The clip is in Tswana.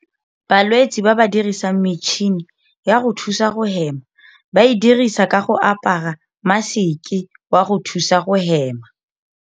Balwetse ba ba dirisang metšhini ya go thusa go hema ba e dirisa ka go apara maseke wa go thusa go hema.